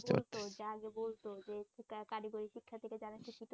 করতো মানে আগে বলতো যে এই কারিগরি শিক্ষার দিকে যারা